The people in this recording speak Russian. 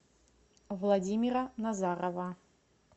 владимира назарова